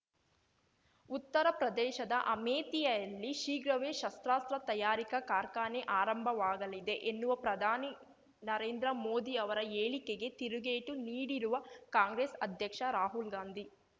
ಉತ್ತರ ಪ್ರದೇಶದ ಅಮೇಥಿಯಲ್ಲಿ ಶೀಘ್ರವೇ ಶಸ್ತ್ರಾಸ್ತ್ರ ತಯಾರಿಕಾ ಕಾರ್ಖಾನೆ ಆರಂಭವಾಗಲಿದೆ ಎನ್ನುವ ಪ್ರಧಾನಿ ನರೇಂದ್ರ ಮೋದಿ ಅವರ ಹೇಳಿಕೆಗೆ ತಿರುಗೇಟು ನೀಡಿರುವ ಕಾಂಗ್ರೆಸ್ ಅಧ್ಯಕ್ಷ ರಾಹುಲ್ ಗಾಂಧಿ